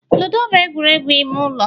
ludo bụ egwuregwu ime ụlọ